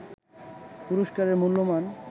পুরস্কারের মূল্যমান